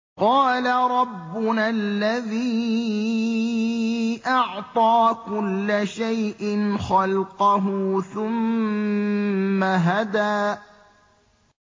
قَالَ رَبُّنَا الَّذِي أَعْطَىٰ كُلَّ شَيْءٍ خَلْقَهُ ثُمَّ هَدَىٰ